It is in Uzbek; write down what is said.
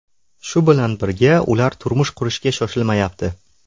Shu bilan birga, ular turmush qurishga shoshilmayapti.